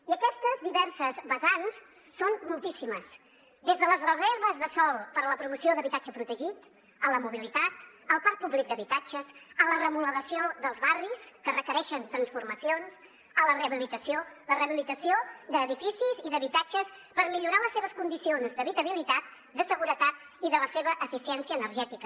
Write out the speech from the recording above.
i aquestes diverses vessants són moltíssimes des de les reserves de sòl per a la promoció d’habitatge protegit a la mobilitat al parc públic d’habitatges a la remodelació dels barris que requereixen transformacions a la rehabilitació la rehabilitació d’edificis i d’habitatges per millorar les seves condicions d’habitabilitat de seguretat i de la seva eficiència energètica